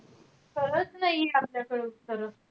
खरंच नाहीये आपल्याकडे उत्तरं.